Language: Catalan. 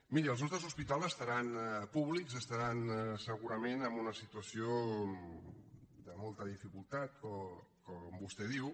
miri els nostres hospitals públics deuen estar segurament en una situació de molta dificultat com vostè diu